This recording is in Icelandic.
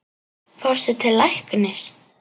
Fórstu til læknis?